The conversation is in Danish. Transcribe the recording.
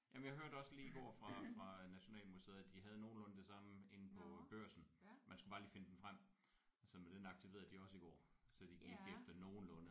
Jamen jeg hørte også lige i går fra fra Nationalmuseet at de havde nogenlunde det samme inde på Børsen man skulle bare lige finde den frem så men den aktiverede de også i går så de gik efter nogenlunde